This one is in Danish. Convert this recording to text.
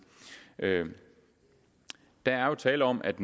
at der jo er tale om at